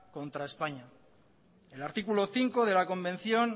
contra españa el artículo cinco de la convención